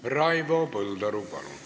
Raivo Põldaru, palun!